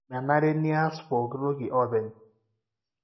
menare nias pooki tooki openy.